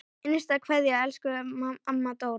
HINSTA KVEÐJA Elsku amma Dóra.